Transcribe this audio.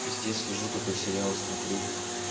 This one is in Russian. пиздец лежу такой сериал смотрю